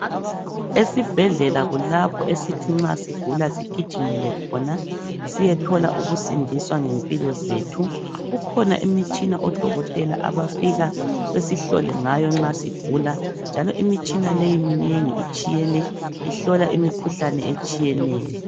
Esibhedlela kulapho esithi nxa sigula sigijimele khona siyethola ukusindiswa ngempilo zethu. Kukhona imitshina odokotela abafika besihlole ngayo nxa sigula njalo imitshina leyi minengi itshiyene. Ihlola imikhuhlane etshiyeneyo.